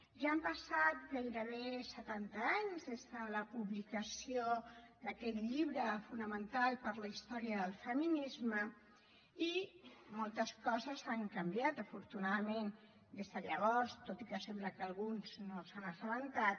ja han passat gairebé setanta anys des de la publicació d’aquest llibre fonamental per a la història del feminisme i moltes coses han canviat afortunadament des de llavors tot i que alguns sembla que no se n’han assabentat